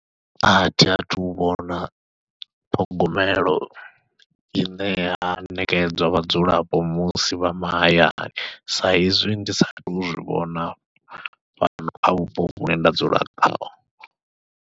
Athi athu u vhona ṱhogomelo i ṋea ya ṋekedzwa vhadzulapo musi vha mahayani, saizwi ndi sa tou zwivhona fhano kha vhupo vhune nda dzula khaho.